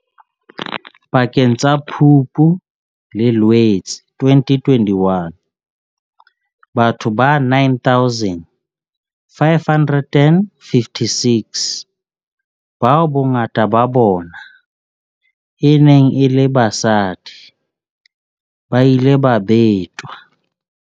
Pakeng tsa Phupu le Loetse 2021, batho ba 9 556, bao bongata ba bona e neng e le basadi, ba ile ba betwa.